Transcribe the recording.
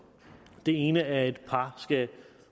den ene halvdel af et par skal